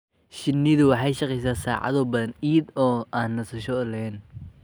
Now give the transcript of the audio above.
Shinnidu waxay shaqaysaa saacado badan iyada oo aan nasasho lahayn.